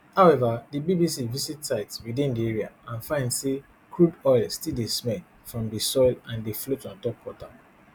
however di bbc visit sites within di area and find say crude oil still dey smell from di soil and dey float ontop water